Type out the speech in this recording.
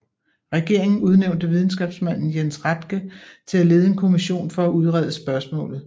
Regeringen udnævnte videnskabsmanden Jens Rathke til at lede en kommission for at udrede spørgsmålet